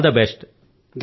all the best